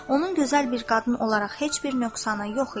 Onun gözəl bir qadın olaraq heç bir nöqsanı yox idi.